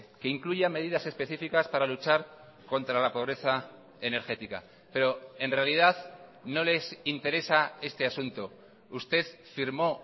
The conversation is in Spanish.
que incluya medidas específicas para luchar contra la pobreza energética pero en realidad no les interesa este asunto usted firmó